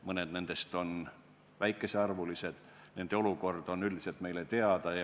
Mõned neist on väikesearvulised ja nende olukord on üldiselt meile teada.